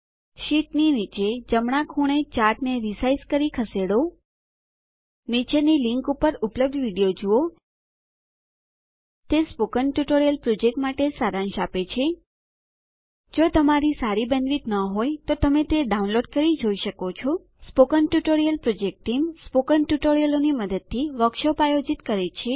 શીટની નીચે જમણાં ખૂણે ચાર્ટને રીસાઇઝ કરી ખસેડો નીચેની લીંક ઉપર ઉપલબ્ધ વિડીયો જુઓ તે સ્પોકન ટ્યુટોરીયલ પ્રોજેક્ટ માટે સારાંશ આપે છે જો તમારી સારી બેન્ડવિડ્થ ન હોય તો તમે ડાઉનલોડ કરી તે જોઈ શકો છો સ્પોકન ટ્યુટોરીયલ પ્રોજેક્ટનું જૂથ સ્પોકન ટ્યુટોરીયલોની મદદથી વર્કશોપો આયોજિત કરે છે